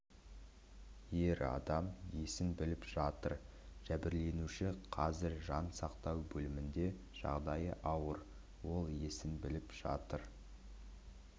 ер адам есін біліп жатыр жәбірленуші қазір жан сақтау бөлімінде жағдайы ауыр ол есін біліп жатыр